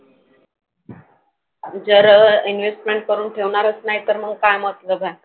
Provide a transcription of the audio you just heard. जर investment करून ठेवणारंच नाही तर मग काय मतलब आहे.